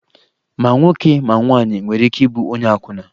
Ma nwoke ma nwaanyị nwere ike ịbụ onye akwụna